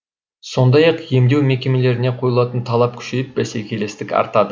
сондай ақ емдеу мекемелеріне қойылатын талап күшейіп бәсекелестік артады